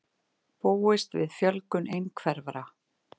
Búast við fjölgun einhverfra